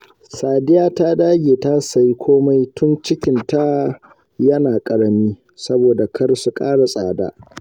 Sadiya ta dage ta sayi komai tun cikinta yana ƙarami, saboda kar su ƙara tsada